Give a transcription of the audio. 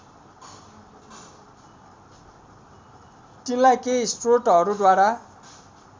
तिनलाई केही स्रोतहरूद्वारा